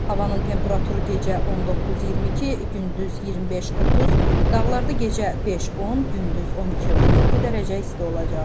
Havanın temperaturu gecə 19-22, gündüz 25-30, dağlarda gecə 5-10, gündüz 12-17 dərəcə isti olacaq.